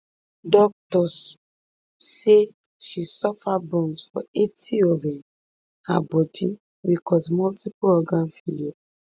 doctors say she suffer burns for eighty of um her bodi wey cause multipleorgan failure